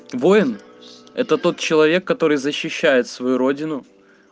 воин это тот человек который защищает свою родину